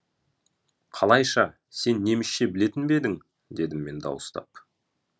қалайша сен немісше білетін бе едің дедім мен дауыстап